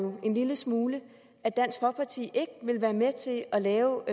en lille smule at dansk folkeparti ikke vil være med til at lave